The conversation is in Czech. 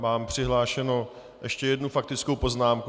Mám přihlášenou ještě jednu faktickou poznámku.